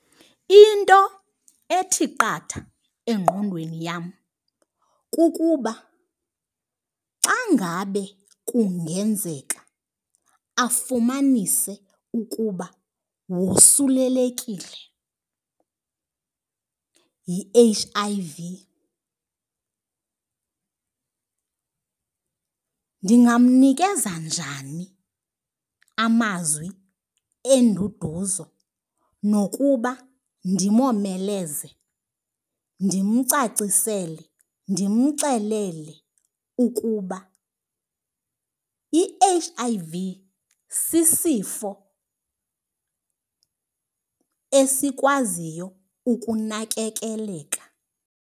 Into ethi qatha engqondweni yam kukuba xa ngabe kungenzeka afumanise ukuba wosulelekile yi-H_I_V ndingamnikeza njani amazwi enduduzo nokuba ndimomeleze ndimcacisele, ndimxelele ukuba i-H_I_V sisifo esikwaziyo ukunakekeleka?